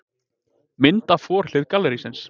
Mynd af forhlið gallerísins.